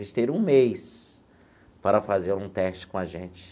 Vocês terão um mês para fazer um teste com a gente.